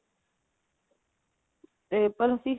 ਪਰ ਅਸੀਂ